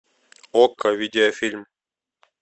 окко видеофильм